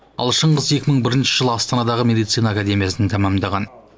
ал шыңғыс екі мың бірінші жылы астанадағы медицина академиясын тәмамдаған